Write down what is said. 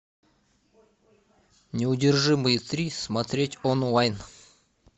неудержимые три смотреть онлайн